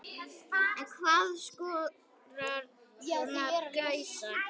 En hvað kostar svona gæsla?